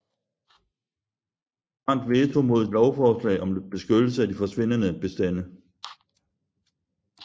Grant veto mod et lovforslag om beskyttelse af de forsvindende bestande